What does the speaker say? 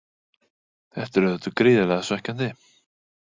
Þetta er auðvitað gríðarlega svekkjandi.